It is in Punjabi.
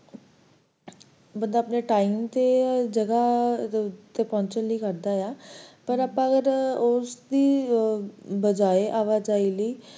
ਬਸ ਆਪਣੇ time ਤੇ ਜਗ੍ਹਾ ਤੇ ਪਹੁੰਚਣ ਲਈ ਕਰਦਾ ਆ ਪਰ ਆਪਾਂ ਅਗਰ ਉਸ ਦੀ ਬਜਾਏ ਆਵਾਜਾਈ ਲਈ,